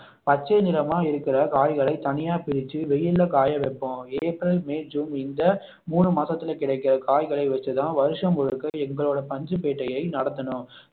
பச்சை நிறமாய் இருக்கிற காய்களை தனியா பிரிச்சு வெயில்ல காய வைப்போம் ஏப்ரல், மே, ஜூன் இந்த மூணு மாசத்துல கிடைக்கிற காய்களை வைத்து தான் வருஷம் முழுக்க எங்களோட பஞ்சுப்பேட்டையை நடத்தணும்